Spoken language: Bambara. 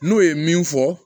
N'o ye min fɔ